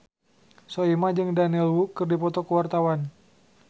Soimah jeung Daniel Wu keur dipoto ku wartawan